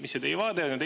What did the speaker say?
Mis see teie vaade on?